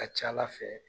A ka ca ala fɛ